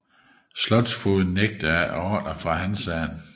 Slotsfogden nægtede efter ordre fra Hansaen